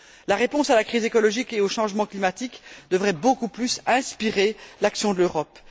La réponse à la crise écologique et au changement climatique devrait beaucoup plus inspirer l'action de l'Europe.